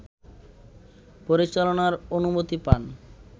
পরিচালনার অনুমতি পান